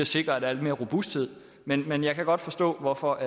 sikre at der er lidt mere robusthed men men jeg kan godt forstå hvorfor